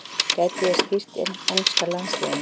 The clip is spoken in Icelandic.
Gæti ég stýrt enska landsliðinu?